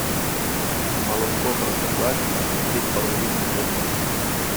молоко простоквашино три с половиной жирности